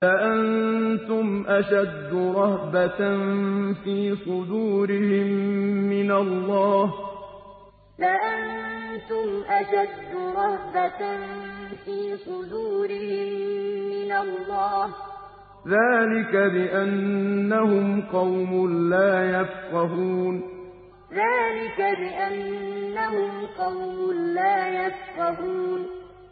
لَأَنتُمْ أَشَدُّ رَهْبَةً فِي صُدُورِهِم مِّنَ اللَّهِ ۚ ذَٰلِكَ بِأَنَّهُمْ قَوْمٌ لَّا يَفْقَهُونَ لَأَنتُمْ أَشَدُّ رَهْبَةً فِي صُدُورِهِم مِّنَ اللَّهِ ۚ ذَٰلِكَ بِأَنَّهُمْ قَوْمٌ لَّا يَفْقَهُونَ